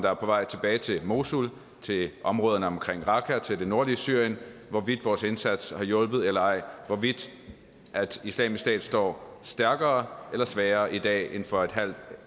tilbage til mosul til områderne omkring raqqa til det nordlige syrien hvorvidt vores indsats har hjulpet eller ej hvorvidt islamisk stat står stærkere eller svagere i dag end for et halvt et